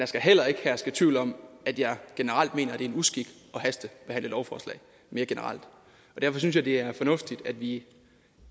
skal heller ikke herske tvivl om at jeg generelt mener er en uskik at hastebehandle lovforslag derfor synes jeg at det er fornuftigt at vi